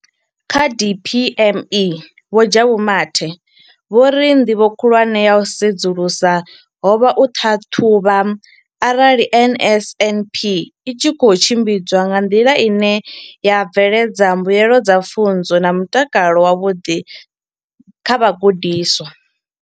Kha DPME, Vho Jabu Mathe, vho ri nḓivho khulwane ya u sedzulusa ho vha u ṱhaṱhuvha arali NSNP i tshi khou tshimbidzwa nga nḓila ine ya bveledza mbuelo dza pfunzo na mutakalo wavhuḓi kha vhagudiswa.